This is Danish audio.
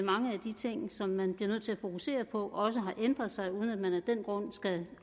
at mange af de ting som man bliver nødt til at fokusere på også har ændret sig uden at man af den grund skal